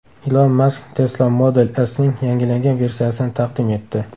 Ilon Mask Tesla Model S’ning yangilangan versiyasini taqdim etdi.